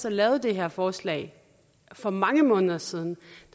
og lavede det her forslag for mange måneder siden